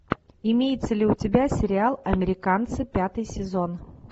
имеется ли у тебя сериал американцы пятый сезон